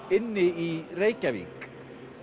inni í Reykjavík